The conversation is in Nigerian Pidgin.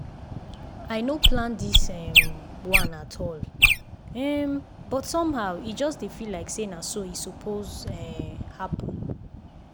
i no plan this um one at all um but somehow e just dey feel like say na so e suppose um happen.